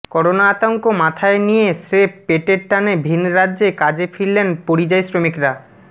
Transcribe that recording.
corona আতঙ্ক মাথায় নিয়ে স্রেফ পেটের টানে ভিনরাজ্যে কাজে ফিরলেন পরিযায়ী শ্রমিকরা